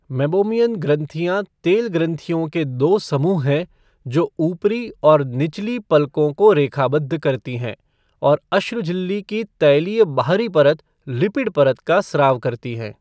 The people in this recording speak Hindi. मेबोमियन ग्रंथियां तेल ग्रंथियों के दो समूह हैं जो ऊपरी और निचली पलकों को रेखाबद्ध करती हैं और अश्रु झिल्ली की तैलीय बाहरी परत लिपिड परत का स्राव करती हैं।